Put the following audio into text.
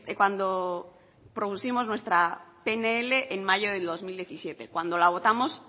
cuando propusimos nuestra pnl en mayo del dos mil diecisiete cuando la votamos